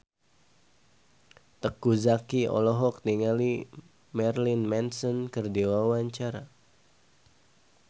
Teuku Zacky olohok ningali Marilyn Manson keur diwawancara